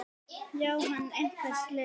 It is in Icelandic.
Jóhann: Einhver slys á fólki?